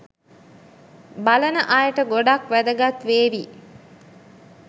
බලන අයට ගොඩක් වැදගත් වේවී.